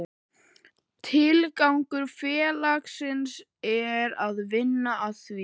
Tilgangur félagsins er að vinna að því